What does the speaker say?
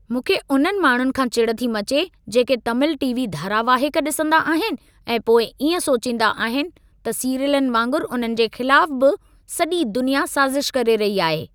मूंखे उन्हनि माण्हुनि खां चिड़ थी मचे, जेके तमिल टी.वी. धारावाहिक ॾिसंदा आहिनि ऐं पोइ इएं सोचींदा आहिनि त सीरियलनि वांगुरु उन्हनि जे ख़िलाफ़ बि सॼी दुनिया साज़िश करे रही आहे।